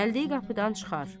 Gəldiyi qapıdan çıxar.